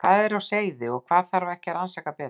Hvað er þar á seyði og þarf ekki að rannsaka það betur?